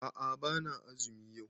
A'a bana azumi yau